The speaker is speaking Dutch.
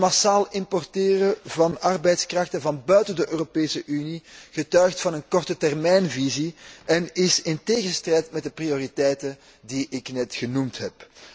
Het massaal importeren van arbeidskrachten van buiten de Europese Unie getuigt van een korte termijnvisie en is strijdig met de prioriteiten die ik net genoemd heb.